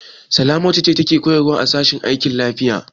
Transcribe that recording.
Salamatu ce take koyarwa a sashen aikin lafiya.